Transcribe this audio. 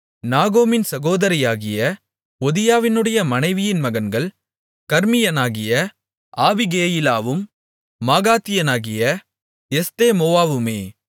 நாகாமின் சகோதரியாகிய ஒதியாவினுடைய மனைவியின் மகன்கள் கர்மியனாகிய ஆபிகேயிலாவும் மாகாத்தியனாகிய எஸ்தெமொவாவுமே